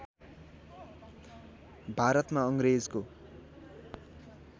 भारतमा अङ्ग्रेजको